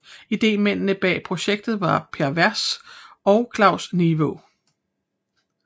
Idémændene bag projektet var Per Vers og Claus Nivaa